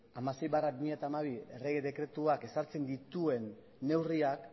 hamasei barra bi mila hamabi errege dekretuak ezartzen dituen neurriak